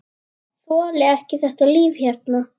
Þoli ekki þetta líf hérna.